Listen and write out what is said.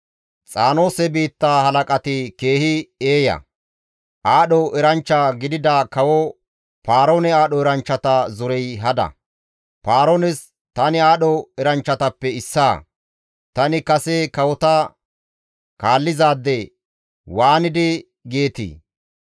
Xaanoose biitta halaqati keehi eeya; aadho eranchcha gidida kawo Paaroone aadho eranchchata zorey hada. Paaroones, «Tani aadho eranchchatappe issaa; tani kase kawota kaallizaade» waanidi geetii?